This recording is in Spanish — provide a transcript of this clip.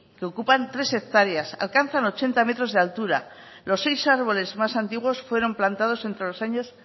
que ocupan tres hectáreas alcanzan ochenta metros de altura los seis arboles más antiguos fueron plantados entre los años